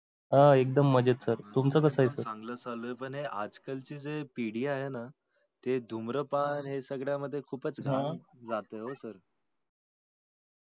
हा एक्दम मजेत sir. तुमचं कसं आहे? चांगल चालय. पण आजकल ची पिढी आहे ना ते धूम्रपान हे सगळ्या मध्ये ना खूप च जातंय sir